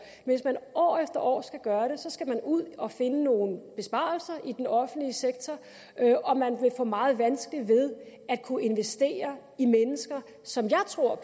hvis man år efter år skal gøre det skal man ud at finde nogle besparelser i den offentlige sektor og man vil få meget vanskeligt ved at kunne investere i mennesker som jeg tror